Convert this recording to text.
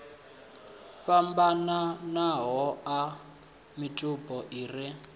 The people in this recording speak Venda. fhambananaho a mitupo i re